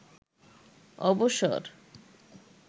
অবসর